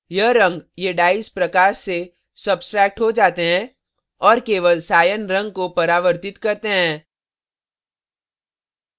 यह रंग ये dyes डाइज प्रकाश से substract हो जाते हैं और केवल cyan cyan रंग को परावर्तित करते हैं